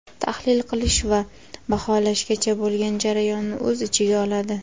tahlil qilish va baholashgacha bo‘lgan jarayonni o‘z ichiga oladi.